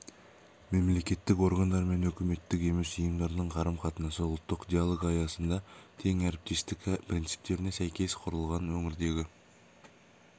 мемлекеттік органдар мен үкіметтік емес ұйымдардың қарым-қатынасы ұлттық диалог аясында тең әріптестік принциптеріне сәйкес құрылған өңірдегі